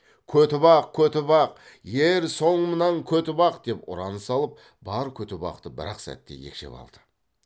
көтібақ көтібақ ер соңымнан көтібақ деп ұран салып бар көтібақты бір ақ сәтте екшеп алды